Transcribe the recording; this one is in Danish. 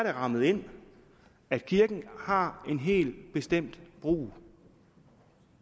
er rammet ind at kirken har en helt bestemt brug